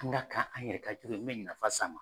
An g'a ka an yɛrɛ ka jugu ye me nafa s'an ma